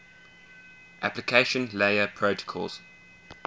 application layer protocols